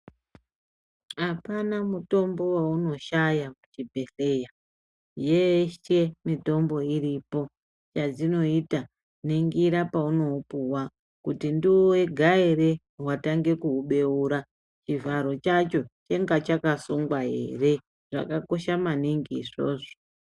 Apana mutombo waunoshaya muchibhedheya, yeshe mitombo iripo, chadzinoita ningira paunoupuwa kuti ndiwe wega ere watanga kuubeura chivharo chacho inga chakasungwa ere zvakakosha maningi izvozvo.